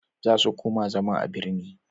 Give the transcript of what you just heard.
za su koma zama a birni